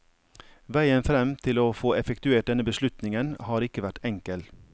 Veien frem til å få effektuert denne beslutningen har ikke vært enkel.